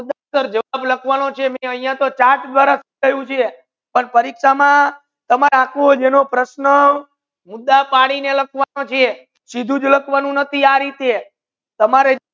ફકત જવાબ લખવાનો છે ફકત જવાબ લખવાનો છે ચાર્ટ દ્વારા પણ પરિક્ષા મા તમારા આખુ પ્રશ્ના મુદ્દા પડિને લાખવાના છે સિદ્દુ જ લાખવાનુ નાથી તમારા